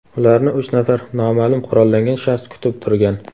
Ularni uch nafar noma’lum qurollangan shaxs kutib turgan.